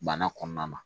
Bana kɔnɔna na